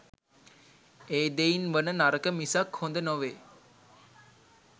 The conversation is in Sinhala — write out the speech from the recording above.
ඒ දෙයින් වන නරක මිසක් හොද නෙවේ